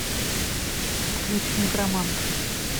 включи некромант